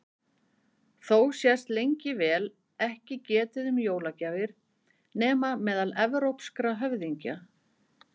Þó sést lengi vel ekki getið um jólagjafir nema meðal evrópskra höfðingja.